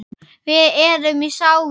Við erum í sárum.